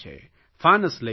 ફાનસ લઇ જાય છે